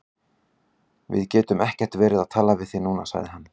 Við getum ekkert verið að tala við þig núna, sagði hann.